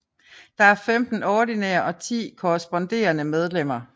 Der er 15 ordinære og 10 korresponderede medlemmer